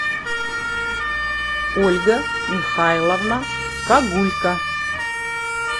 ольга михайловна кагулька